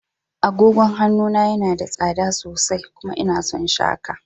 Agogon hannu na yana da tsada sosai. kuma ina son shi haka.